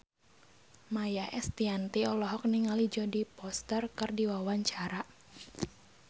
Maia Estianty olohok ningali Jodie Foster keur diwawancara